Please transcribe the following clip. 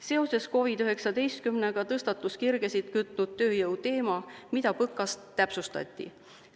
Seoses COVID-19-ga tõstatus kirgesid kütnud tööjõuteema, mida PõKa-s täpsustati.